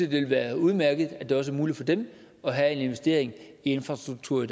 ville være udmærket at det også er muligt for dem at have en investering i infrastruktur